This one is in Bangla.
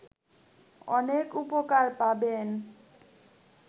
অনেক উপকার পাবেন